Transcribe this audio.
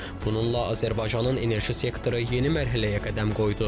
Bununla Azərbaycanın enerji sektoru yeni mərhələyə qədəm qoydu.